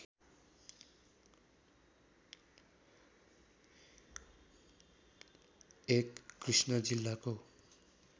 एक कृष्ण जील्लाको